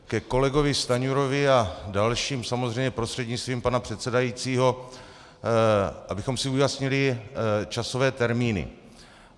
Ke kolegovi Stanjurovi a dalším, samozřejmě prostřednictvím pana předsedajícího, abychom si ujasnili časové termíny.